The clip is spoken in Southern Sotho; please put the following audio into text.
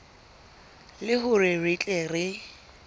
le hore re tle re